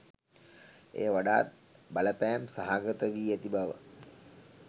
එය වඩාත් බලපෑම් සහගත වී ඇති බව